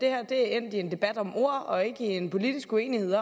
er endt i en debat om ord og ikke en politisk uenighed